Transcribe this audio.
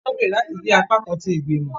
Wọn gbèrò láti jẹ apakan ti igbimọ.